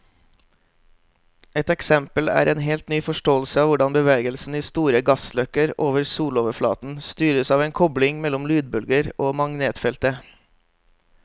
Et eksempel er en helt ny forståelse av hvordan bevegelsen i store gassløkker over soloverflaten styres av en kobling mellom lydbølger og magnetfeltet.